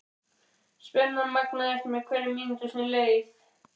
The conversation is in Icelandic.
Spennan magnaðist með hverri mínútu sem leið.